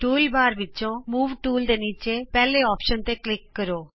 tool bar ਵਿਚੋਂ move tool ਦੇ ਨੀਚੇ ਪਹਿਲੇ ਅੋਪਸ਼ਨ ਤੇ ਕਲਿਕ ਕਰੋ